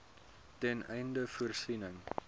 ten einde voorsiening